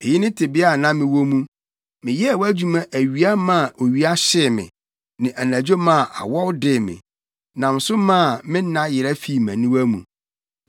Eyi ne tebea a na mewɔ mu: Meyɛɛ wʼadwuma awia maa owia hyee me ne anadwo maa awɔw dee me; nam so maa nna yera fii mʼaniwa mu.